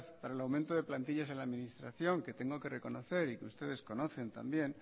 para el aumento de plantillas en la administración que tengo que reconocer y ustedes conocen también